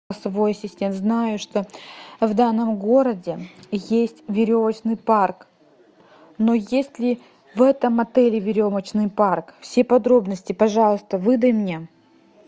голосовой ассистент знаю что в данном городе есть веревочный парк но есть ли в этом отеле веревочный парк все подробности пожалуйста выдай мне